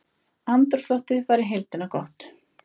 Andrúmsloftið var í heildina gott